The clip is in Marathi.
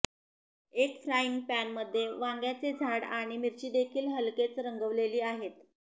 एक फ्राईंग पॅनमध्ये वांग्याचे झाड आणि मिरचीदेखील हलकेच रंगवलेली आहेत